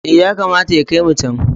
Eh, yakamata ya kai mu can.